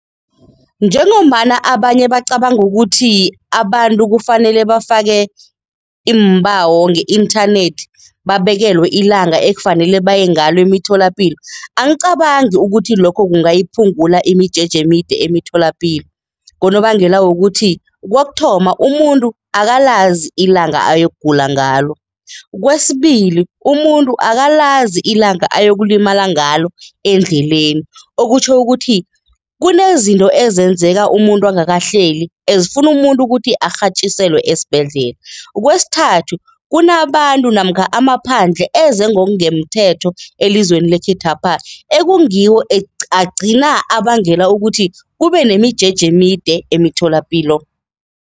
Njengombana abanye bacabanga ukuthi abantu kufanele bafake iimbawo nge-inthanethi, babekelwe ilanga ekufanele baye ngalo emitholapilo, angicabangi ukuthi lokho kungayiphungula imijeje emide emitholapilo ngonobangela wokuthi kokuthoma, umuntu akalazi ilanga ayokugula ngalo. Kwesibili, umuntu akalazi ilanga ayokulimala ngalo endleleni. Okutjho ukuthi kunezinto ezenzeka umuntu angakahleli, azifuni umuntu ukuthi arhatjiselwe esibhedlela. Kwesithathu, kunabantu namkha amaphandle eze ngokungemthetho elizweni lekhethwapha ekungiwo agcina abangela ukuthi kube nemijeje emide emitholapilo.